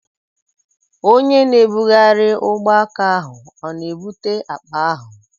Onye na-ebugharị ugbọaka ahụ ọ na-ebute akpa ahụ?